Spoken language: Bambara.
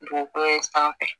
Dugukolo in sanfɛ